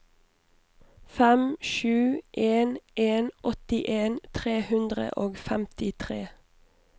fem sju en en åttien tre hundre og femtitre